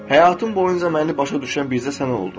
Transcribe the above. Həyatım boyunca məni başa düşən bircə sən oldun.